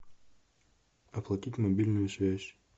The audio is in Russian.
оплатить мобильную связь